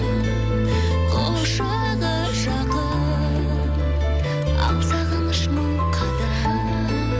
құшағы жақын ал сағыныш мың қадам